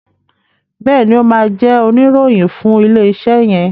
Béèni o má jé Oníròhìn fún ilé iṣé yen.